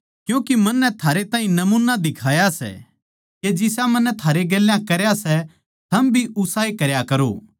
क्यूँके मन्नै थारै ताहीं नमूना दिखाया सै के जिसा मन्नै थारै गेल्या करया सै थम भी उसाए करया करो